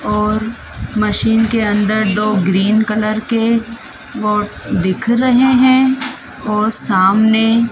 और मशीन के अंदर दो ग्रीन कलर के बोर्ड दिख रहे हैं और सामने--